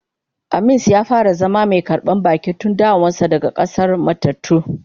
Aamins ya fara zama mai karban baki tun dawowar ta daga k'asar matattu.